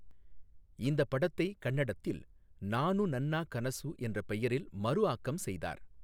இந்தப் படத்தை கன்னடத்தில் நானு நன்னா கனசு என்ற பெயரில் மறு ஆக்கம் செய்தார்.